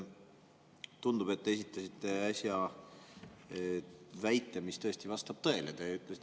Tundub, et te esitasite äsja väite, mis tõesti vastab tõele.